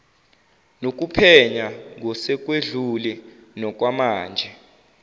nokuphenya ngosekwedlule nokwamanje